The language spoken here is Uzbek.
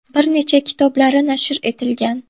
Bir necha kitoblari nashr etilgan.